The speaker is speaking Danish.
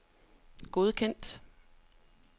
godkendt